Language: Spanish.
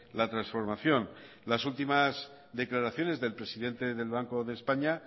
la transformación las últimas declaraciones del presidente del banco de españa